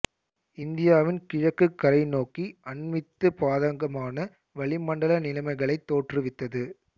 இந்தியாவின் கிழக்குக் கரை நோக்கி அண்மித்து பாதகமான வளிமண்டல நிலைமைகளைத் தோற்றுவித்தது